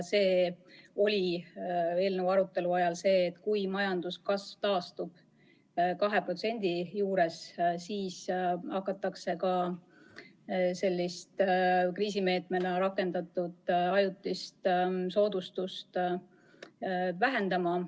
Eelnõu arutelu ajal anti teada, et kui majanduskasv taastub 2%-ni, siis hakatakse ka seda kriisimeetmena rakendatud ajutist soodustust vähendama.